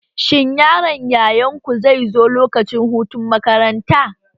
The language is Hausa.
Shin yaron yayarku zai zo lokacin hutun makaranta?